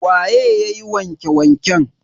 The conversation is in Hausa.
Waye yayi wanke wanken?